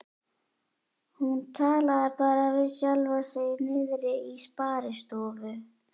Hún talaði bara við sjálfa sig niðri í sparistofu.